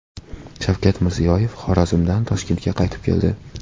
Shavkat Mirziyoyev Xorazmdan Toshkentga qaytib keldi.